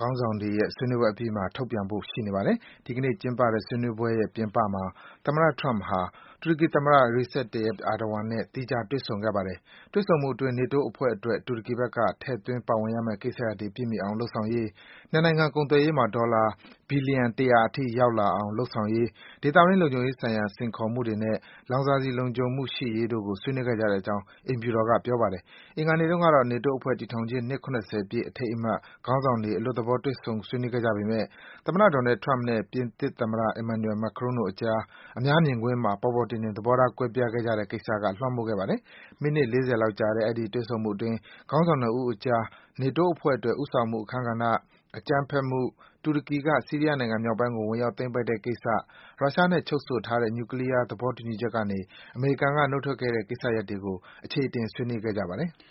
ခေါင်းဆောင်တွေရဲ့ ဆွေးနွေးပွဲအပြီးမှာ ထုတ်ပြန်ဖို့ ရှိပါတယ်။ ဒီနေ့ကျင်းပတဲ့ ဆွေးနွေးပွဲရဲ့ ပြင်ပမှာ သမ္မတ Trump ဟာ တူရကီသမ္မတ Recep Tayyip Erdogan နဲ့ သီးခြားတွေ့ဆုံခဲ့ပါတယ်။ တွေ့ဆုံမှုအတွင်း နေတိုးအဖွဲ့အတွက် တူရကီဘက်က ထည့်သွင်း ပါဝင်ရမယ့်ကိစ္စတွေ ပြည့်မှီအောင် လုပ်ဆောင်ရေး၊ နှစ်နိုင်ငံ ကုန်သွယ်ရေးမှာ ဒေါ်လာ ဘီလီယံ ၁၀၀ အထိ ရောက်လာအောင် လုပ်ဆောင်ရေး၊ ဒေသတွင်း လုံခြုံရေးဆိုင်ရာ စိတ်ခေါ်မှုတွေနဲ့ လောင်စာဆီ လုံခြုံမှု ရှိရေးတို့ကို ဆွေးနွေးခဲ့ကြောင်း သမ္မတ အိမ်ဖြူတော်က ပြောပါတယ်။ အင်္ဂါနေ့တုန်းကတော့ နေတိုးအဖွဲ့တည်ထောင်ခြင်း နှစ် ၇၀ ပြည့် အထိမ်းအမှတ်အဖြစ် ခေါင်းဆောင်တွေ အလွတ်သဘော တွေ့ဆုံ ဆွေးနွေးခဲ့ကြပေမယ့် သမ္မတ Donald Trump နဲ့ ပြင်သစ်သမ္မတ Emmanuel Macron တို့အကြား အများမြင်ကွင်းမှာ ပေါ်ပေါ်တင်တင် သဘောထား ကွဲပြားခဲ့ကြတဲ့ကိစ္စက လွမ်းမိုးခဲ့ပါတယ်။ မိနစ် ၄၀ လောက်ကြာတဲ့ အဲဒီ တွေ့ဆုံမှုအတွင်း ခေါင်းဆောင် ၂ ဦးအကြား နေတိုးအဖွဲ့အတွက် ဦးဆောင်မှုအခန်းကဏ္ဍ၊ အကြမ်းဖက်မှု၊ တူရကီက ဆီးရီးယားနိုင်ငံမြောက်ပိုင်းကို ဝင်ရောက် သိမ်းပိုက်တဲ့ကိစ္စ၊ ရုရှားနဲ့ချုပ်ဆိုထားတဲ့ နျူကလီးယား သဘောတူညီချက်ကနေ အမေရိကန်က နုတ်ထွက်ခဲ့တဲ့ကိစ္စတွေကို အခြေအတင် ဆွေးနွေးခဲ့ပါတယ်။